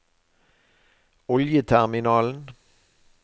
oljeterminalen